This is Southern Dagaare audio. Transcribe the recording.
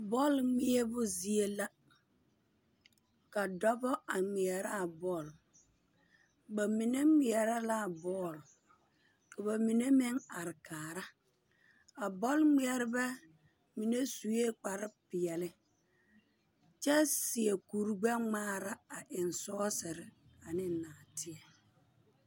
Bͻle ŋmeԑbo zie la. Ka dͻbͻ a ŋeԑrԑ a bͻle. Ba mine ŋmeԑrԑ la a bͻle, ka ba mine meŋ are kaara. A bͻl-ŋmeԑrebԑ mine sue kpare peԑle kyԑ seԑ kuri gbԑ-ŋmaara a eŋ sͻͻsere ane naateԑ.